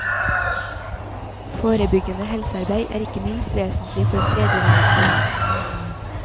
Forebyggende helsearbeid er ikke minst vesentlig for den tredje verden.